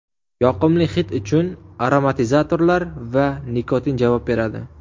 Yoqimli hid uchun aromatizatorlar va nikotin javob beradi.